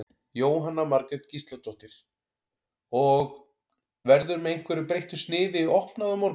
Jóhanna Margrét Gísladóttir: Og, verður með einhverju breyttu sniði opnað á morgun?